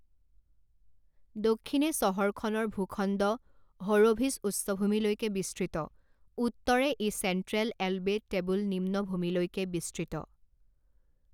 দক্ষিণে চহৰখনৰ ভূখণ্ড হ'ৰ'ভিচ উচ্চভূমিলৈকে বিস্তৃত, উত্তৰে ই চেণ্ট্ৰেল এলবে টেবুল নিম্নভূমিলৈকে বিস্তৃত।